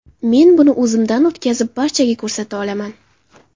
Men buni o‘zimdan o‘tkazib, barchaga ko‘rsata olaman.